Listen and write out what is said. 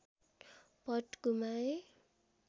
पट गुमाए